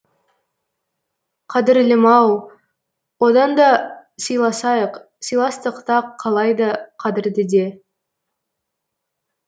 қадірлім ау оданда силасайық силастықта қалайды қадірдіде